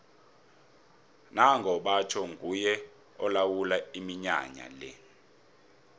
nango batjho nguye olawula iminyanya le